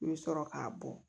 I bɛ sɔrɔ k'a bɔ